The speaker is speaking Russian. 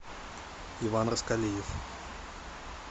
иван раскалиев